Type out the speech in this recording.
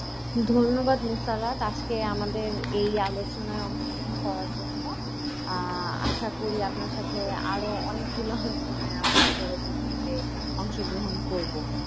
ধন্যবাদ মুশারত আজকে আমাদের এই আলোচনায় অংশগ্রহণ করার জন্য আহ আশা করি আপনার সাথে আরও অনেকগুলো আলোচনায় আমরা পরবর্তীতে অংশগ্রহণ করব,